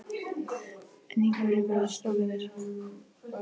En í hverju verða strákarnir?